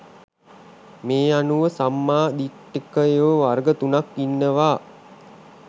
මේ අනුව සම්මා දිට්ඨිකයෝ වර්ග තුනක් ඉන්නවා